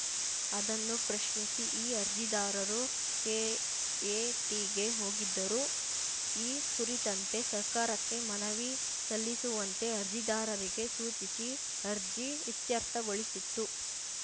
ಅದನ್ನು ಪ್ರಶ್ನಿಸಿ ಈ ಅರ್ಜಿದಾರರು ಕೆಎಟಿಗೆ ಹೋಗಿದ್ದರು ಈ ಕುರಿತಂತೆ ಸರ್ಕಾರಕ್ಕೆ ಮನವಿ ಸಲ್ಲಿಸುವಂತೆ ಅರ್ಜಿದಾರರಿಗೆ ಸೂಚಿಸಿ ಅರ್ಜಿ ಇತ್ಯರ್ಥಗೊಳಿಸಿತ್ತು